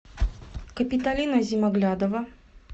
капиталина зимоглядова